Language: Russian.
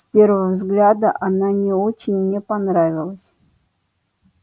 с первого взгляда она не очень мне понравилась